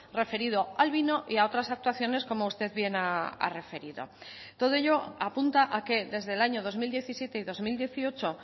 referido al vino y a otras actuaciones como usted bien ha referido todo ello apunta a que desde el año dos mil diecisiete y dos mil dieciocho